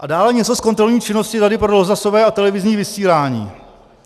A dále něco z kontrolní činnosti Rady pro rozhlasové a televizní vysílání.